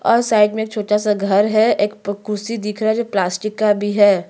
और साइड में एक छोटा सा घर है। एक प कुर्सी दिख रहा है जो प्लास्टिक का भी है।